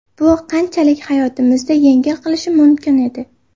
Bu qanchalik hayotimizni yengil qilishi mumkin edi.